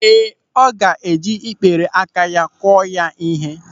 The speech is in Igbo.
Ee, ọ ga-eji ikpere aka akụ ya ịhe.